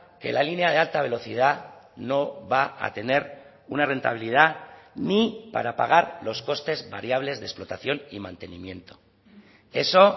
que la línea de alta velocidad no va a tener una rentabilidad ni para pagar los costes variables de explotación y mantenimiento eso